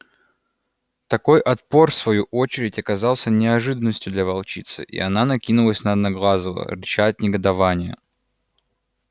такой отпор в свою очередь оказался неожиданностью для волчицы и она накинулась на одноглазого рыча от негодования